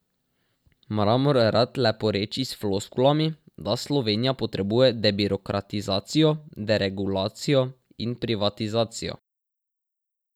Mramor rad leporeči s floskulami, da Slovenija potrebuje debirokratizacijo, deregulacijo in privatizacijo.